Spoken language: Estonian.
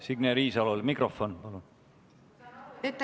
Signe Riisalole mikrofon, palun!